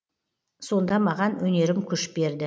сонда маған өнерім күш берді